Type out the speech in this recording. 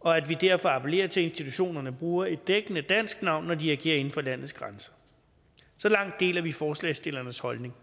og at vi derfor appellerer til at institutionerne bruger et dækkende dansk navn når de agerer inden for landets grænser så langt deler vi forslagsstillernes holdning